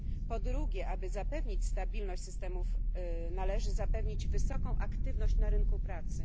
Po drugie, aby zapewnić stabilność systemów należy zapewnić wysoką aktywność na rynku pracy.